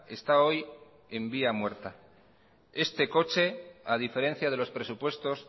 está hoy en vía muerta este coche a diferencia de los presupuestos